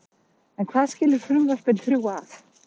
En hvað skilur frumvörpin þrjú að?